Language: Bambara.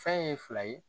Fɛn ye fila ye